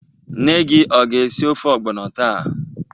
Nne gi ọ ga-esi ofe ọgbọnọ taa?